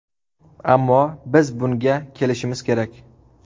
Ammo biz bunga kelishimiz kerak.